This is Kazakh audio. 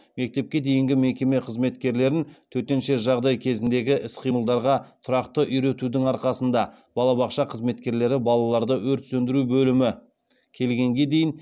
мектепке дейінгі мекеме қызметкерлерін төтенше жағдай кезіндегі іс қимылдарға тұрақты үйретудің арқасында балабақша қызметкерлері балаларды өрт сөндіру бөлімі келгенге дейін эвакуациялаған